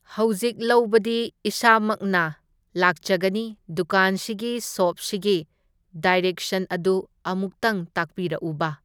ꯍꯧꯖꯤꯛ ꯂꯧꯕꯗꯤ ꯏꯁꯥꯃꯛꯅ ꯂꯥꯛꯆꯒꯅꯤ, ꯗꯨꯀꯥꯟꯁꯤꯒꯤ ꯁꯣꯞꯁꯤꯒꯤ ꯗꯥꯏꯔꯦꯛꯁꯟ ꯑꯗꯨ ꯑꯃꯨꯛꯇꯪ ꯇꯥꯛꯄꯤꯔꯛꯎꯕ꯫